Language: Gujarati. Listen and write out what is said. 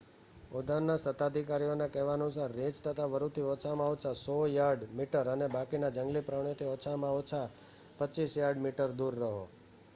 ઉદ્યાનના સત્તાધિકારીઓના કહેવા અનુસાર રીંછ તથા વરૂથી ઓછામાં ઓછા 100 યાર્ડ/મીટર અને બાકીના જંગલી પ્રાણીઓથી ઓછામાં ઓછા 25 યાર્ડ/મીટર દૂર રહો!